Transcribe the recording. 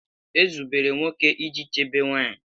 Ezubere nwoke iji chebe nwanyị